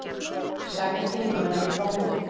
Sagði þingmönnum frá fundi